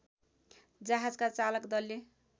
जहाजका चालक दलले